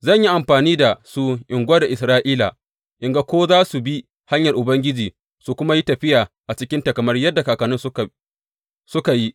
Zan yi amfani da su in gwada Isra’ila in ga ko za su bi hanyar Ubangiji su kuma yi tafiya a cikinta kamar yadda kakanninsu suka yi.